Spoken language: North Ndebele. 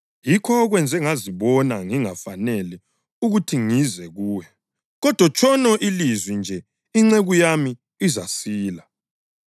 Yikho okwenze ngazibona ngingafanele ukuthi ngize kuwe. Kodwa tshono ilizwi nje inceku yami izasila.